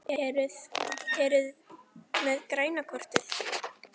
Eruði með græna kortið?